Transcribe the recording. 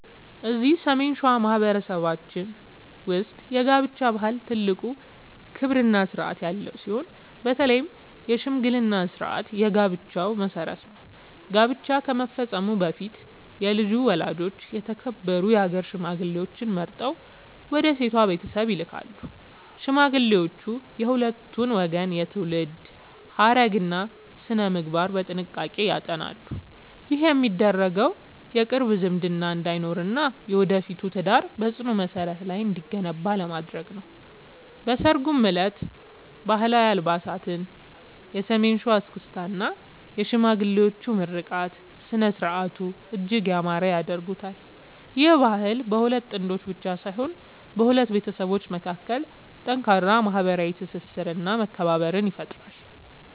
እዚህ ሰሜን ሸዋ በማኅበረሰባችን ውስጥ የጋብቻ ባህል ትልቅ ክብርና ሥርዓት ያለው ሲሆን፣ በተለይ የሽምግልና ሥርዓት የጋብቻው መሠረት ነው። ጋብቻ ከመፈጸሙ በፊት የልጁ ወላጆች የተከበሩ የአገር ሽማግሌዎችን መርጠው ወደ ሴቷ ቤተሰብ ይልካሉ። ሽማግሌዎቹ የሁለቱን ወገን የትውልድ ሐረግና ሥነ-ምግባር በጥንቃቄ ያጠናሉ። ይህ የሚደረገው የቅርብ ዝምድና እንዳይኖርና የወደፊቱ ትዳር በጽኑ መሠረት ላይ እንዲገነባ ለማድረግ ነው። በሠርጉ ዕለትም ባህላዊ አልባሳት፣ የሰሜን ሸዋ እስክስታ እና የሽማግሌዎች ምርቃት ሥነ-ሥርዓቱን እጅግ ያማረ ያደርጉታል። ይህ ባህል በሁለት ጥንዶች ብቻ ሳይሆን በሁለት ቤተሰቦች መካከል ጠንካራ ማኅበራዊ ትስስርና መከባበርን ይፈጥራል።